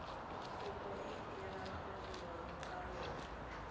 kopo e diragadiwa ka lona